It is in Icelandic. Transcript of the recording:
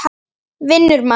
Vinnur mann.